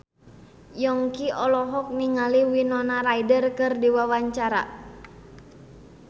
Yongki olohok ningali Winona Ryder keur diwawancara